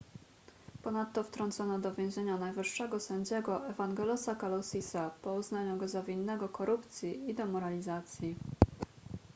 ponadto wtrącono do więzienia najwyższego sędziego evangelosa kalousisa po uznaniu go za winnego korupcji i demoralizacji